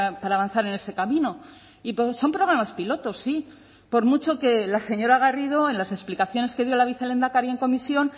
para avanzar en ese camino y son programas piloto sí por mucho que la señora garrido en las explicaciones que dio la vicelehendakari en comisión